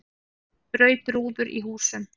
Braut rúður í húsum